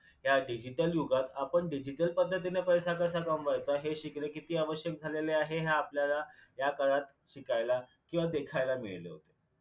या digital युगात आपण digital पद्धतीने पैसा कसा कमवायचा हे शिकणे किती आवश्यक झालेले आहे हे आपल्याला ह्या काळात शिकायला किंवा देखायला मिळाले होते